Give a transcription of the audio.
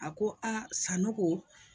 A ko Sanogo